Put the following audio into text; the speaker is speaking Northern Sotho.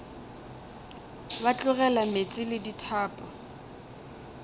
ba tlogela meetse le dithapo